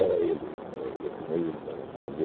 ele, no esse meu irmão, entende?